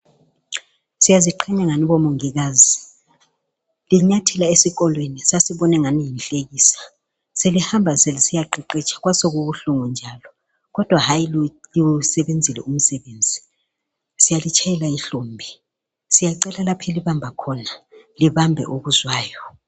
Siyaziqhenya ngani bomongikazi. linyathela esikolweni sasibona ingani yinhlekisa, selihamba selisiyaqeqetsha kwasokubuhlungu njalo, kodwa hayi liwusebenzile umsebenzi siyalitshayela ihlombe siyacela lapha elibamba khona libambe okuzwayo.